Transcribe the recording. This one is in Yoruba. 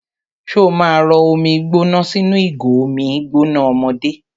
Ṣó ma rọ omi gbóná sínú ìgò omi gbóná ọmọdé?